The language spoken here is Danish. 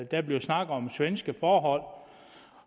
der bliver snakket om svenske forhold